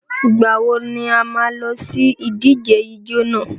Ìgbà wo ni a má a lọ sí ìdíje ijó nà?